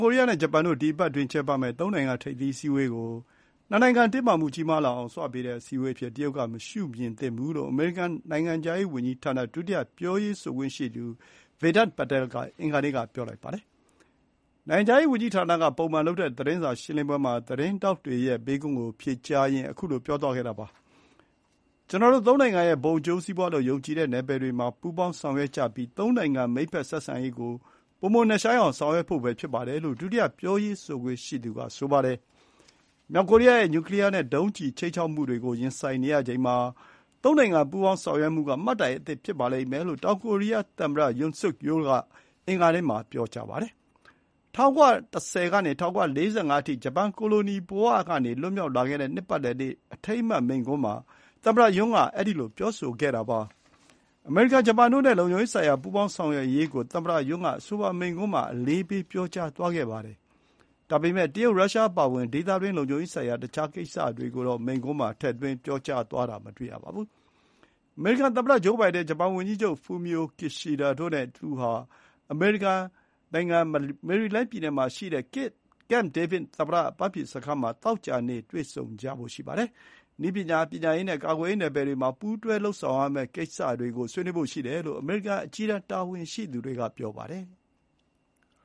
ကိုရီးယား၊ ဂျပန်တို့ ဒီအပတ်အတွင်းကျင်းပမယ့် သုံးနိုင်ငံ ထိပ်သီးအစည်းအဝေးကို တင်းမာမှုကြီးမားလာအောင်ဆွပေးတဲ့ အစည်းအဝေး အဖြစ် တရုတ်ကမရှုမြင်သင့်ဘူးလို့ အမေရိကန်နိုင်ငံခြားရေးဝန်ကြီးဌာန ဒုတိယ ပြောရေးဆိုခွင့်ရှိသူ Vedant Patel က အင်္ဂါနေ့က ပြောလိုက်ပါတယ်။ နိုင်ငံခြားရေးဝန်ကြီးဌာနက ပုံမှန်သတင်းစာရှင်းလင်းပွဲမှာ သတင်းထောက်တွေရဲ့ မေးခွန်းကို ဖြေကြားရင်း ပြောသွားခဲ့တာပါ။ "ကျနော်တို့သုံးနိုင်ငံရဲ့ ဘုံအကျိုးစီးပွါးလို့ ယုံကြည်တဲ့နယ်ပယ်တွေမှာ ပူးပေါင်းဆောင်ရွက်ကြပြီး သုံးနိုင်ငံမိတ်ဘက် ဆက်ဆံရေးကို ပိုမိုနက်ရှိုင်းအောင် ဆောင်ရွက်ဖို့ပဲဖြစ်ပါတယ်လို့ ဒုတိယ ပြောရေးဆိုခွင့်ရှိသူက ပြောပါတယ်။ မြောက်ကိုရီးယားရဲ့ နျူကလီယာနဲ့ ဒုံးကျည်ခြိမ်းခြောက်မှုတွေကို ရင်ဆိုင်နေရချိန်မှာ သုံးနိုင်ငံပူးပေါင်းဆောင်ရွက်မှုက မှတ်တိုင်အသစ်ဖြစ်ပါလိမ့်မယ်လို့ တောင်ကိုရီးယားသမ္မတ Yoon Suk Yeol က အင်္ဂါနေ့မှာ ပြောပါတယ်။ ၁၉၁၀ ကနေ ၁၉၄၅ အထိ ဂျပန်ကိုလိုနီလက်အောက်ကနေ လွတ်မြောက်လာခဲ့တဲ့ နှစ်ပတ်လည်နေ့အထိမ်းအမှတ်မိန့်ခွန်းမှာ သမ္မတယွန်းက အဲဒီလို ပြောလိုက်တာပါ။ အမေရိကန်၊ ဂျပန်တို့နဲ့ လုံခြုံရေးဆိုင်ရာပူးပေါင်းဆောင်ရွက်ရေးကို သမ္မတ ယွန်း က အဆိုပါမိန့်ခွန်းမှာ အလေးပေးပြောကြားသွားခဲ့ပါတယ်။ ဒါပေမဲ့ တရုတ်၊ ရုရှား အပါအဝင် ဒေသတွင်း လုံခြုံရေးဆိုင်ရာ တခြားကိစ္စတွေကိုတော့ မိန့်ခွန်းမှာ ထည့်သွင်းပြောကြားသွားတော့ မတွေ့ရပါဘူး။ အမေရိကန်သမ္မတဂျိုးဘိုင်ဒန်၊ ဂျပန်ဝန်ကြီးချုပ် Fumio Kishida တို့နဲ့ အမေရိကန်နိုင်ငံ မေရီလန်းပြည်နယ်မှာရှိတဲ့ CAMP DAVID သမ္မတအပန်းဖြေစခန်းမှာ သောကြာနေ့ တွေ့ဆုံကြမှာပါ။ နည်းပညာ၊ ပညာရေးနဲ့ ကာကွယ်ရေးနယ်ပယ်တွေမှာ ပူးတွဲလုပ်ဆောင်ရမယ့်ကိစ္စတွေကို ဆွေးနွေးဖို့ရှိတယ်လို့ အမေရိကန် အကြီးတန်းတာဝန်ရှိသူတွေက ပြောပါတယ်။